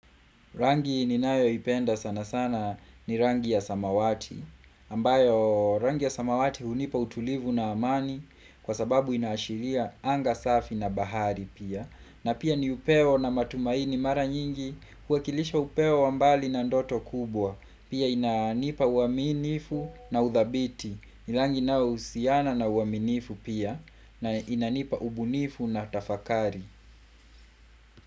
Rangi ninayoipenda sana sana ni rangi ya samawati, ambayo rangi ya samawati unipa utulivu na amani kwa sababu inashiria anga safi na bahari pia. Na pia ni upewo na matumaini mara nyingi kuakilisha upewo ambali na ndoto kubwa. Pia inanipa uaminifu na udhabiti, ni langi na usiana na uaminifu pia na inanipa ubunifu na tafakari.